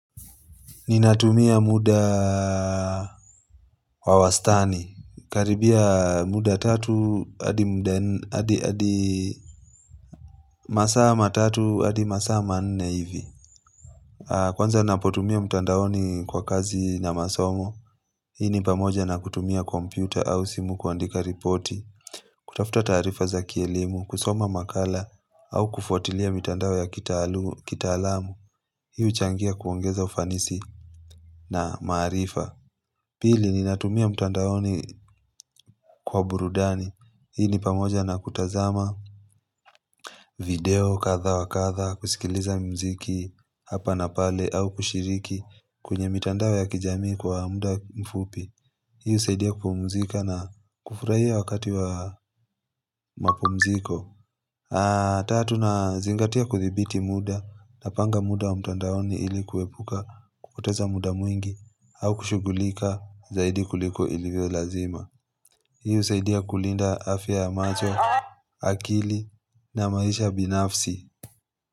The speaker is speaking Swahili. Ninatumia muda wawastani. Karibia muda tatu, hadi masaama tatu, hadi masaama nne hivi. Kwanza napotumia mtandaoni kwa kazi na masomo. Hii ni pamoja na kutumia kompyuta au simu kuandika ripoti, kutafuta taarifa za kielimu, kusoma makala au kufuatilia mtandao ya kitaalamu. Hii huchangia kuongeza ufanisi na maarifa Pili ni natumia mtandaoni kwa burudani Hii ni pamoja na kutazama video kadha wakadha kusikiliza muziki hapa na pale au kushiriki kwenye mtandao ya kijamii kwa muda mfupi Hii husaidia kupumzika na kufurahia wakati wa mapumziko Tatu nazingatia kudhibiti muda Napanga muda wa mtandaoni ilikuwepuka kupoteza muda mwingi au kushugulika zaidi kuliko ilivyo lazima. Hii husaidia kulinda afya yamacho, akili na maisha binafsi.